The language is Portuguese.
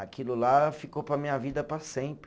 Aquilo lá ficou para a minha vida para sempre.